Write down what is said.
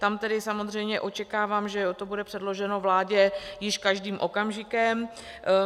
Tam tedy samozřejmě očekávám, že to bude předloženo vládě již každým okamžikem.